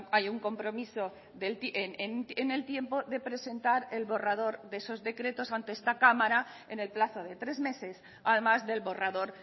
hay un compromiso en el tiempo de presentar el borrador de esos decretos ante esta cámara en el plazo de tres meses además del borrador